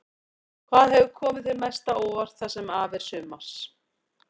Hvað hefur komið þér mest á óvart það sem af er sumars?